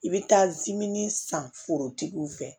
I bɛ taa zimɛnin san forotigiw fɛ